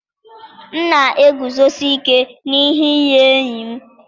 m na-eguzosi ike n'ihe nye enyi m.